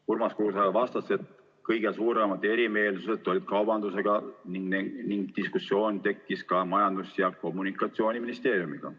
Urmas Kruuse vastas, et kõige suuremad erimeelsused olid kaubandusega ning diskussioon tekkis ka Majandus- ja Kommunikatsiooniministeeriumiga.